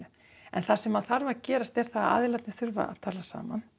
en það sem þarf að gerast er að aðilarnir þurfa að tala saman